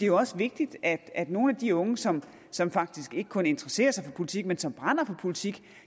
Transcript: jo også vigtigt at at nogle af de unge som som faktisk ikke kun interesserer sig for politik men som brænder for politik